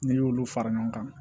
N'i y'olu fara ɲɔgɔn kan